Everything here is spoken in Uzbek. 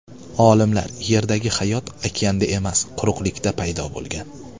Olimlar: Yerdagi hayot okeanda emas, quruqlikda paydo bo‘lgan.